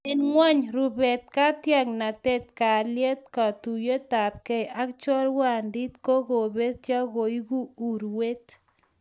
Eng kwekeny, rubet, katiaknatet, kalyet, katuiyetabkei ak chorwandit ko ngobetyo koeku urwet